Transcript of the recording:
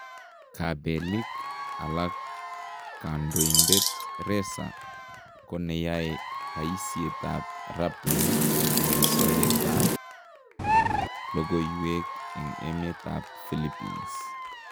Kabeliik alak kandoindet Ressa ko neyae bayisyeetab Rappler , ne soyeetab lokooywek en emeetab Philippines.